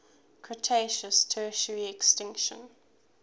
cretaceous tertiary extinction